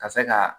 Ka se ka